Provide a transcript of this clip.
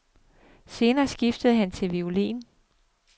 Senere skiftede han til violin.